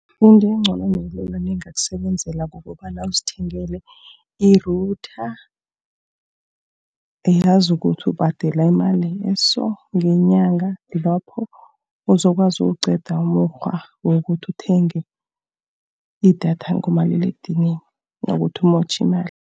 Into engcono nelula, nengakusebenzela kukobana uzithengele i-router. Uyazi ukuthi ubhadela imali eso, ngenyanga. Lapho uzokwazi ukuwuqeda umukghwa wokuthi uthenge idatha ngomaliledinini, kunokuthi umotjhe imali.